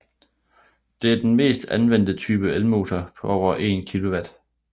Det er den mest anvendte type elmotor på over 1 kW